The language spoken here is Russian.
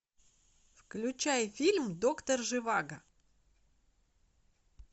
включай фильм доктор живаго